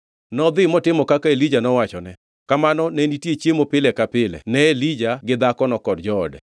Nodhi motimo kaka Elija nowachone. Kamano ne nitie chiemo pile ka pile ne Elija gi dhakono kod joode.